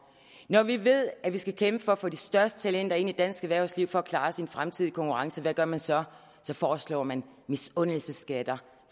når vi ved at vi skal kæmpe for at få de største talenter ind i dansk erhvervsliv for at klare os i en fremtidig konkurrence hvad gør man så så foreslår man misundelsesskatter